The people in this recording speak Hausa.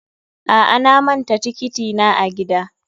A'a, na manta tiketi na a gida.